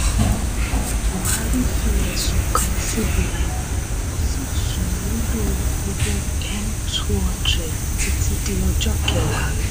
buhari fi ẹ̀sùn kàn cbn ó sì sún lílo owó N two hundred títí di ọjọ́ kẹwàá.